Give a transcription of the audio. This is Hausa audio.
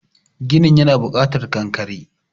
ginin yana bukatar kankare